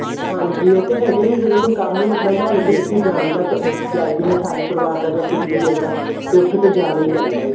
ਹਾਂਜੀ ਉਹ ਤੇ ਹੈ ਹੀ ਹੈ ਜਦੋਂ ਵੀ ਕੋਈ ਹੀ ਇੱਦਾਂ ਦਾ ਹੋਵੇ ਵੀ ਜਿੱਥੇ ਜਾਣ ਦਾ ਜਾਏ ਬਿਨਾ ਸਾਰੇ ਪਰਿਵਾਰ ਦਾ ਜਾਂ ਕੁੱਝ ਵੀ ਇੱਦਾਂ ਤੇ ਉੱਥੇ ਤਾਂ ਜਾਣਾ ਹੀ ਪੈਂਦਾ ਹੈ